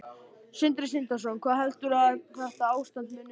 Sindri Sindrason: Hvað heldurðu að þetta ástand muni vara lengi?